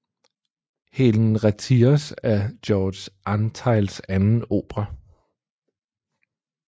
Helen Retires er George Antheils anden opera